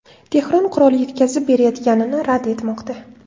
Tehron qurol yetkazib berayotganini rad etmoqda.